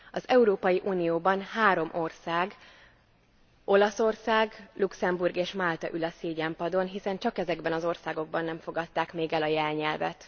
Az Európai Unióban három ország, Olaszország, Luxemburg és Málta ül a szégyenpadon, hiszen csak ezekben az országokban nem fogadták még el a jelnyelvet.